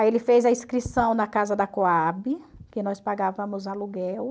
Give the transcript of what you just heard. Aí ele fez a inscrição na casa da Cohab, que nós pagávamos aluguel.